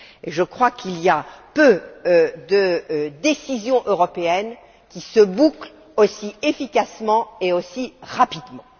Je crois qu'il y a peu de décisions européennes qui se bouclent aussi efficacement et aussi rapidement.